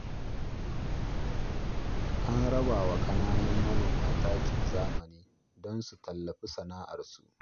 An raba wa ƙananan manoma takin zamani don su tallafi sana'arsu